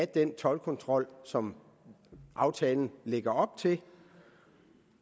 den toldkontrol som aftalen lægger op til og